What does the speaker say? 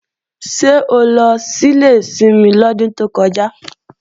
Ṣé o lọ sílé ìsinmi lọ́dún tó kọjá?